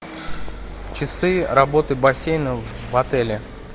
часы работы бассейна в отеле